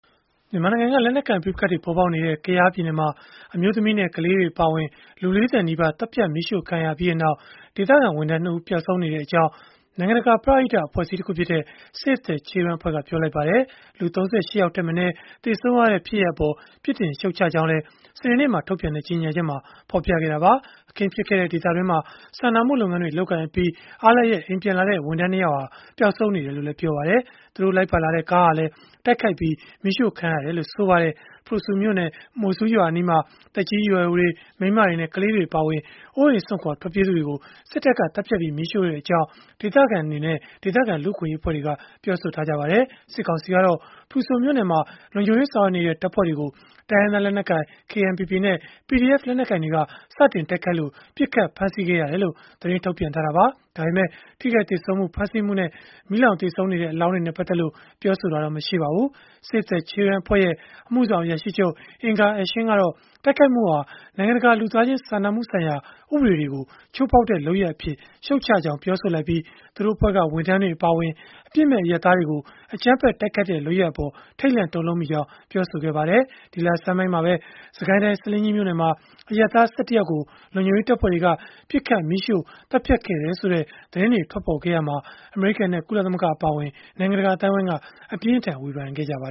မြန်မာနိုင်ငံက လက်နက်ကိုင် ပဋိပက္ခတွေ ပေါ်ပေါက်နေတဲ့ ကယားပြည်နယ်မှာ အမျိုးသမီးနဲ့ ကလေးတွေ အပါအဝင် လူ ၄၀ နီးပါး သတ်ဖြတ် မီးရှို့ခံခဲ့ရပြီးနောက် ဒေသခံဝန်ထမ်း ၂ ဦး ပျောက်ဆုံးနေကြောင်း နိုင်ငံတကာ ပရဟိတ အဖွဲ့အစည်းတခုဖြစ်တဲ့ Save the Children က ပြောလိုက်ပါတယ်။ လူ ၃၈ ယောက်ထက်မနည်း သေဆုံးခဲ့ရတဲ့ ဖြစ်ရပ်အပေါ် ပြစ်တင်ရှုတ်ချကြောင်းလည်း စနေနေ့မှာ ထုတ်ပြန်တဲ့ ကြေညာချက်မှာ ဖော်ပြခဲ့တာပါ။ အခင်းဖြစ်ခဲ့တဲ့ ဒေသတွင်းမှာ စာနာမှုလုပ်ငန်းတွေ လုပ်ကိုင်အပြီး အားလပ်ရက် အိမ်ပြန်လာတဲ့ ဝန်ထမ်း ၂ ယောက်ဟာလည်း ပျောက်ဆုံးနေတယ်လို့ ပြောပါတယ်။ သူတို့လိုက်ပါလာတဲ့ ကားဟာလည်း တိုက်ခိုက်ပြီး မီးရှို့ခံခဲ့ရတယ်လို့ ဆိုပါတယ်။ ဖရူဆိုမြို့နယ် မိုဆိုးရွာအနီးမှာ သက်ကြီးရွယ်အိုတွေ၊ မိန်းမတွေနဲ့ ကလေးတွေ အပါအဝင် အိုးအိမ်စွန့်ခွာ ထွက်ပြေးကြသူတွေကို စစ်တပ်က သတ်ဖြတ်ပြီး မီးရှို့ခဲ့ကြောင်း ဒေသခံ လူ့အခွင့်အရေး အဖွဲ့တွေက ပြောပါတယ်။ စစ်ကောင်စီကတော့ ဖရူဆိုမြို့နယ်မှာ လုံခြုံရေးဆောင်ရွက်နေတဲ့ တပ်ဖွဲ့တွေကို တိုင်းရင်းသား လက်နက်ကိုင် KNPP နဲ့ PDF လက်နက်ကိုင်တွေက စတင်တိုက်ခိုက်လို့ ပစ်ခတ်ဖမ်းဆီးခဲ့တယ်လို့ သတင်းထုတ်ပြန်ခဲ့တာပါ။ ဒါပေမယ့် ထိခိုက်သေဆုံးမှု၊ ဖမ်းဆီးမှုနဲ့ မီးလောင်သေဆုံးနေတဲ့ အလောင်းတွေနဲ့ ပတ်သက်လို့ ပြောဆိုထားတာတော့ မရှိပါဘူး။ Save the Children အဖွဲ့ရဲ့ အမှုဆောင်အရာရှိချုပ် Inger Ashing ကတော့ တိုက်ခိုက်မှုဟာ နိုင်ငံတကာ လူသားချင်းစာနာမှုဆိုင်ရာ ဥပဒေတွေကို ချိုးဖောက်တဲ့ လုပ်ရပ်အဖြစ် ရှုတ်ချကြောင်း ပြောဆိုလိုက်ပြီး သူတို့အဖွဲ့က ဝန်ထမ်းတွေ အပါအဝင် အပြစ်မဲ့ အရပ်သားတွေကို အကြမ်းဖက်တိုက်ခိုက်တဲ့ လုပ်ရပ်အပေါ် ထိတ်လန့်တုန်လှုပ်မိကြောင်း ပြောပါတယ်။ ဒီလဆန်းပိုင်းမှာပဲ စစ်ကိုင်းတိုင်း ဆားလင်းကြီးမြို့နယ်မှာ အရပ်သား ၁၁ ယောက်ကို လုံခြုံရေးတပ်ဖွဲ့တွေက ပစ်ခတ်၊ မီးရှို့သတ်ဖြတ်ခဲ့တယ်ဆိုတဲ့ သတင်းတွေ ထွက်ပေါ်ခဲ့ရာမှာ အမေရိကန်နဲ့ ကုလသမဂ္ဂ အပါအဝင် နိုင်ငံတကာ အသိုင်းအဝန်းက အပြင်းအထန် ဝေဖန်ခဲ့ကြပါ